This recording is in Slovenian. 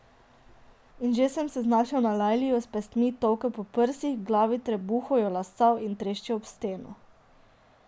In že se je znašel na Lajli, jo s pestmi tolkel po prsih, glavi, trebuhu, jo lasal in treščil ob steno.